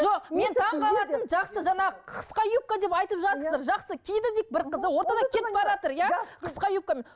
жоқ мен таңғалатыным жақсы жаңағы қысқа юбка деп айтып жатырсыздар жақсы киді дейік бір қыз ортада кетіп баратыр иә қысқа юбкамен